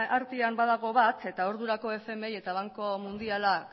artean badago bat eta ordurako fmi eta banku mundialak